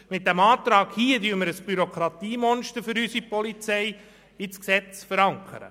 Mit dem vorliegenden Antrag würden wir im Gesetz ein Bürokratiemonster für unsere Polizei verankern.